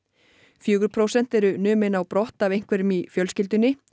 fjögur prósent eru numin á brott af einhverjum í fjölskyldunni